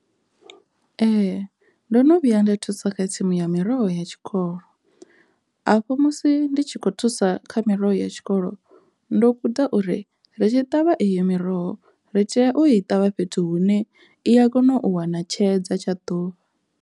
Ee, ndo no vhuya nda thusa kha tsimu ya miroho ya tshikolo afho musi ndi tshi kho thusa kha miroho ya tshikolo ndo guda uri ri tshi ṱavha iyo miroho ri tea o i ṱavha fhethu hune i a kona u wana tshedza tsha ḓuvha.